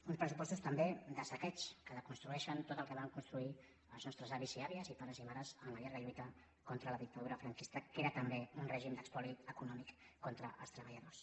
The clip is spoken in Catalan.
uns pressupostos també de saqueig que deconstrueixen tot el que van construir els nostres avis i àvies pares i mares en la llarga lluita contra la dictadura franquista que era també un règim d’espoli econòmic contra els treballadors